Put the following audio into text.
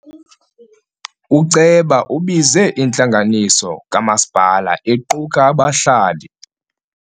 Uceba ubize intlanganiso kamasipala equka abahlali.